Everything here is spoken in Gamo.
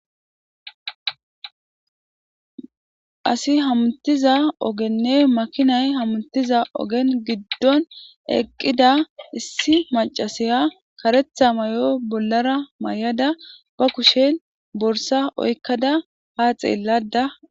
Asi hamutiza ogenne makinay hamutiza ogen giddon eqqida issi macasaya karetha may7o bollara may7ada ba kushe borsa oykkada ha xeellada.